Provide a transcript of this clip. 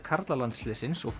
karlalandsliðsins og